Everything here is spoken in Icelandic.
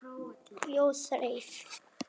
Jói þreif